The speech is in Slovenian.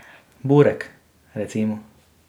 Burek, recimo.